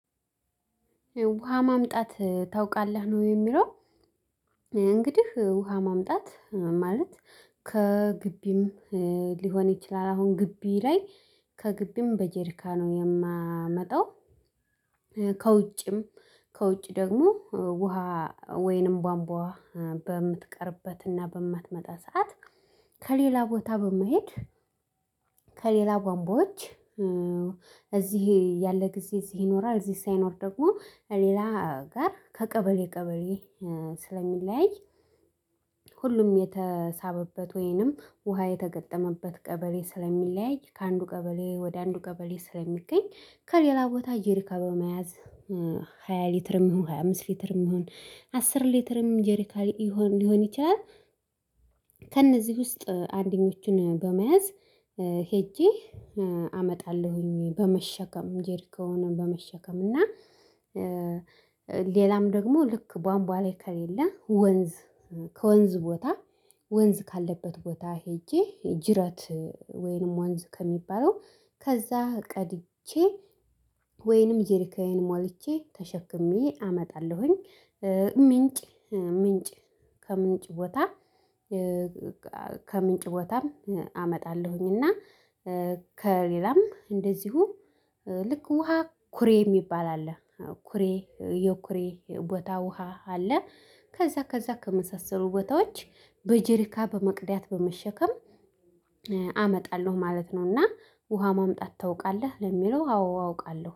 ውሃ ማምጣት ታውቃለህ ነው የሚለው። እንግዲህ ውሃ ማምጣት ማለት ከግቢም ሊሆን ይችላል አሁን ግቢ ላይ ከግቢም በጄሪካ ነው የማመጣው። ከውጭም ከውጭ ደግሞ ውሃ ወይንም ቧምቧ በምትቀርበት እና በማትመጣ ሰዓት ከሌላ ቦታ በመሄድ። ከሌላ ቧምቧዎች እዚህ ያለ ጊዜ እዚህ ይኖራል እዚህ ሳይኖር ደግሞ ሌላ ጋር ከቀበሌ ቀበሌ ስለሚለያይ። ሁሉም የተሳበበት ወይንም ውሃ የተገጠመበት ቀበሌ ስለሚለያይ ከአንዱ ቀበሌ ወደ አንዱ ቀበሌ ስለሚገኝ ከሌላ ቦታ ጀሪካ በመያዝ። ሃያ ሊትርም ይሁን ሃያ አምስት ሊትርም ይሁን አስር ሊትርም ጄሪካ ሊሆን ሊሆን ይችላል። ከእነዚህ ውስጥ አንደኞችን በመያዝ ሄጄ አመጣለሁኝ በመሸከም ጀሪካውን በመሸከም እና ሌላም ደግሞ ልክ ቧንቧ ላይ ከሌለ ወንዝ። ከወንዝ ቦታ ወንዝ ካለበት ቦታ ሄጄ ጅረት ወይንም ወንዝ ከሚባለው ከዛ ቀድቼ ወይንም ጀሪካዬን ሞልቼ ተሸክሜ አመጣለሁኝ። ምንጭ ምንጭ ከምንጭ ቦታ ከምንጭ ቦታም አመጣለሁኝ እና። ከሌላም እንደዚሁ ልክ ውሃ ኩሬ የሚባል አለ ኩሬ የኩሬ ቦታ ውሃ አለ ከዛ ከዛ ከመሳሰሉ ቦታዎች በጄሪካ በመቅዳት በመሸከም አመጣለሁ ማለት ነው። እና ውሃ ማምጣት ታውቃለህ ለሚለው አዎ አውቃለሁ